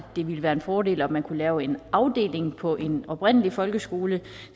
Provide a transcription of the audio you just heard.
det ville være en fordel om man kunne lave en afdeling på en oprindelig folkeskole og